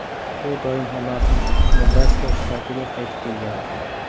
U doim Omaxa, Nebraska shtatiga qaytib kelgan.